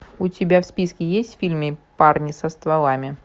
у тебя в списке есть фильм парни со стволами